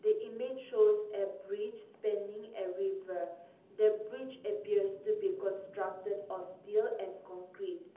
image shows a bridge pending a river the bridge appears to be constructed a steel and concrete.